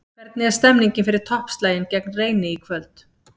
Hvernig er stemningin fyrir toppslaginn gegn Reyni í kvöld?